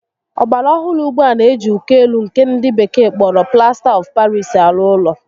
Ọgbara ohụrụ ugbua n'eji uko élú nkè ndị bekee kpọrọ Plasta of Paris arụ ụlọ